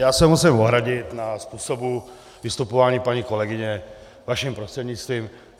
Já se musím ohradit ke způsobu vystupování paní kolegyně, vaším prostřednictvím.